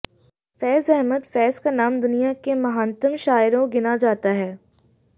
फ़ैज अहमद फ़ैज का नाम दुनिया के महानतम शायरों गिना जाता है